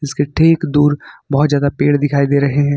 इसके ठीक दूर बहुत ज़्यादा पेड़ दिखाई दे रहे हैं।